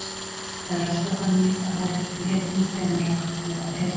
Það er alltaf þannig að horft er til hetjunnar þegar mann langar að vera hetja.